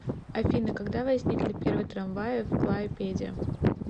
афина когда возникли первые трамваи в клайпеде